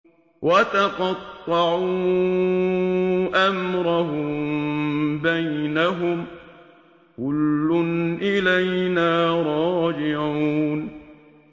وَتَقَطَّعُوا أَمْرَهُم بَيْنَهُمْ ۖ كُلٌّ إِلَيْنَا رَاجِعُونَ